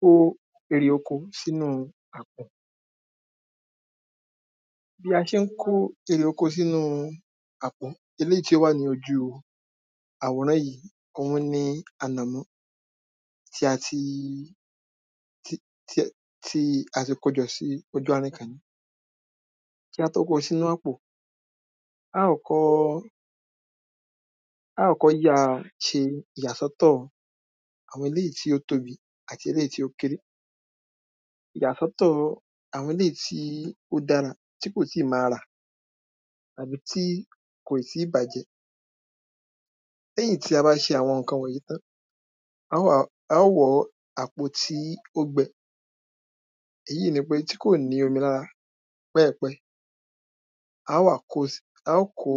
kó erè oko sínú àpò bí a ṣe ń kó èrè oko sínú àpò eléyìí tí ó wà ní ojú àwòrán yìí òhun ni ànàmọ́ tí ati kójọ sí ojú àárín kan kí á tó kó sínú àpò, a kọ́kọ́ á kọ́kọ́ ya ìyàsọ́tọ̀ àwọn eléyìí tí ó tóbi àti eléyìí tí ó kéré ìyàsọ́tọ̀ àwọn eléyìí tí ó dára tí kò tíì máa rà tàbí tí kò tíì bàjẹ́ lẹ́yìn tí a bá ṣe àwọn ǹkan wọ̀nyí tán, a ó wàá a ó wọ̀ọ́ àpò tí ó gbẹ èyí ni pé tí kò ni omi lára pẹ́ẹ̀pẹ́ẹ̀ á wàá kó a ó kó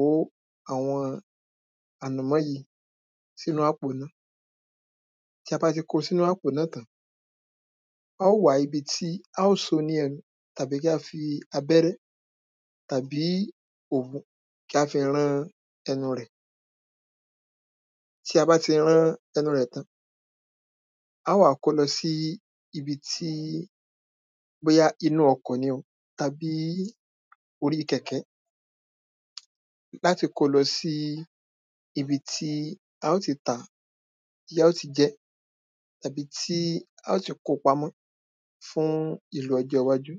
àwọn ànàmọ́ yìí sínú àpò náà tí abá ti wá ko sínú àpò náà tán, a ó wàá ibi tí, a ó so ó ni ẹnu, tàbí kí á fi abẹ́rẹ́ tàbí òwú kí á fi rán ẹnu rẹ̀ tí abá ti rán ẹnu rẹ̀ tán, a ó wàá kó o lọ sí ibi tí, bóyá inú ọkọ̀ ni o tàbí orí kẹ̀kẹ́ láti kó lọ sí ibi tí a ó ti tàá, tí a ó ti jẹ́ tàbí tí a ó ti kóo pamọ́ fún ìlò ọjọ́ iwájú.